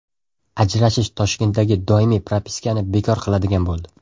Ajrashish Toshkentdagi doimiy propiskani bekor qiladigan bo‘ldi.